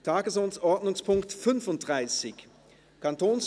Tagesordnungspunkt 35: